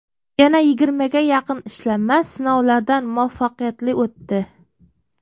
Yana yigirmaga yaqin ishlanma sinovlardan muvaffaqiyatli o‘tdi.